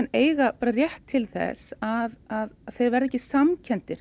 eiga rétt til þess að vera ekki